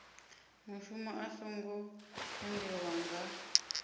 mushumo a songo tendelwa nga